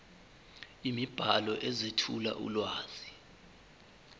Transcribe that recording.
imibhalo ezethula ulwazi